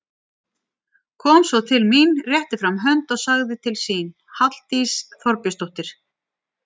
Kom svo til mín, rétti fram hönd og sagði til sín, Halldís Þorbjörnsdóttir.